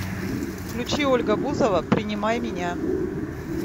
включи ольга бузова принимай меня